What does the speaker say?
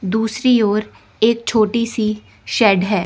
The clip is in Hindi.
दूसरी ओर एक छोटी सी शेड है।